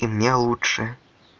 и мне лучше